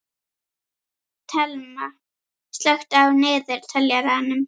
Thelma, slökktu á niðurteljaranum.